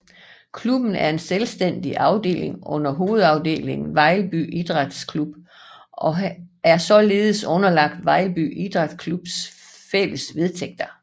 Klubben er en selvstændig afdeling under hovedafdelingen Vejlby Idræts Klub og er således underlagt Vejlby Idræts Klubs fælles vedtægter